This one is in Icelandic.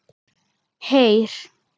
Heyr!